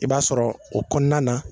I b'a sɔrɔ o kɔɔna na